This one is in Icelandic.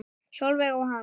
Sólveig og Hans.